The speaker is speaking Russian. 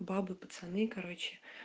бабы пацаны короче